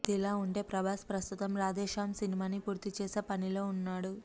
ఇదిలా ఉంటే ప్రభాస్ ప్రస్తుతం రాధే శ్యామ్ సినిమాని పూర్తి చేసే పనిలో ఉన్నాడు